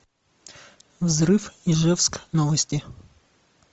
взрыв ижевск новости